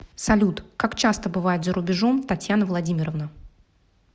салют как часто бывает за рубежом татьяна владимировна